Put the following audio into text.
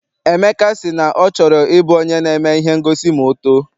Emeka si na ọ chọrọ I bụ onye na-eme ihe ngosi ma ọ too.